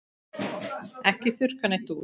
Ekki þurrka neitt út.